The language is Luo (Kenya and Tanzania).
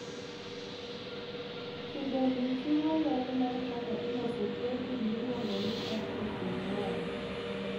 Kido ni chiwo ler mar kaka iloso protin mailuongo ni atrophin 1.